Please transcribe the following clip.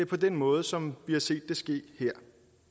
på den måde som vi har set det ske her